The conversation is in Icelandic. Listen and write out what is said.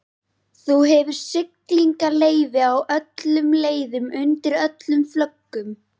Þú hefur siglingaleyfi á öllum leiðum, undir öllum flöggum.